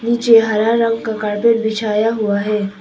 यह हरा रंग का कारपेट बिछाया हुआ है।